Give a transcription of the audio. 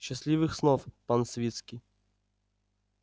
счастливых снов пан свицкий